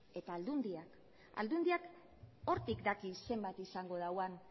eta aldundiak aldundiak hortik daki zenbat izango dauan